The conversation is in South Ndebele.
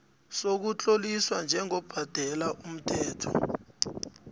sokutloliswa njengobhadela umthelo